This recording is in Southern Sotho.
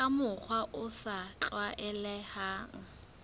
ka mokgwa o sa tlwaelehang